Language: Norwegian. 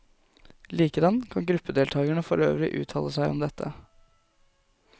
Likedan kan gruppedeltakerne for øvrig uttale seg om dette.